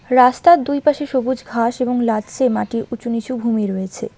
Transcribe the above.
রাস্তার দুই পাশে সবুজ ঘাস এবং লাছছে মাটির উঁচু নিচু ভূমি রয়েছে।